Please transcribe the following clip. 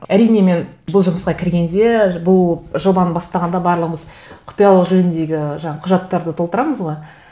әрине мен бұл жұмысқа кіргенде бұл жобаны бастағанда барлығымыз құпиялық жөніндегі жаңа құжаттарды толтырамыз ғой